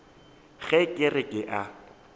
ge ke re ke a